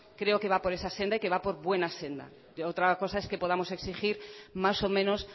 creo que va por esa senda y que va por buena senda otra cosa es que podamos exigir más o menos